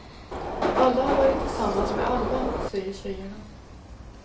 Alla har varit tillsammans med alla, säger tjejerna.